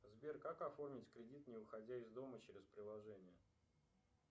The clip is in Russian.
сбер как оформить кредит не выходя из дома через приложение